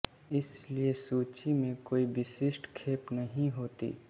इसलिए सूची में कोई विशिष्ट खेप नही होती